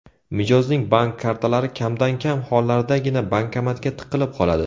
Mijozning bank kartalari kamdan-kam hollardagina bankomatga tiqilib qoladi.